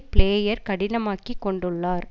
player கடினமாக்கிக் கொண்டுள்ளார்